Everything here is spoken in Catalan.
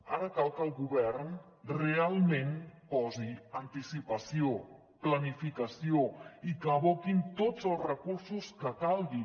ara cal que el govern realment posi anticipació planificació i que aboqui tots els recursos que calgui